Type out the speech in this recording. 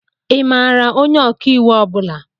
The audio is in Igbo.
Ị maara onye ọkàiwu ọ bula?